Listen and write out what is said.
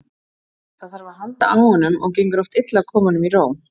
Það þarf að halda á honum og gengur oft illa að koma honum í ró.